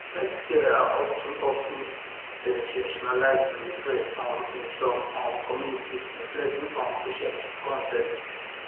health scares are of ten of ten sensationalized in the press um in some um communities influencing um patient consent